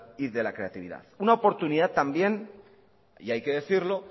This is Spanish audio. y de la creatividad una oportunidad también y hay que decirlo